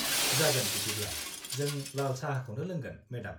जागोन बिदिब्ला, जों लाल साहाखौनो लोंगोन, मेडाम।